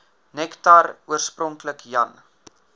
nektar oorspronklik jan